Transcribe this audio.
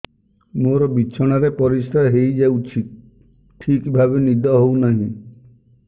ମୋର ବିଛଣାରେ ପରିସ୍ରା ହେଇଯାଉଛି ଠିକ ଭାବେ ନିଦ ହଉ ନାହିଁ